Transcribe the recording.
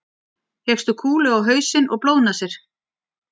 fékkstu kúlu á hausinn og blóðnasir